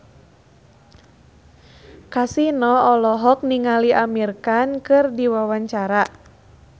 Kasino olohok ningali Amir Khan keur diwawancara